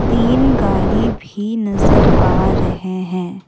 तीन गाड़ी भी नजर आ रहे हैं।